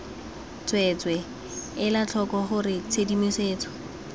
tsweetswee ela tlhoko gore tshedimosetso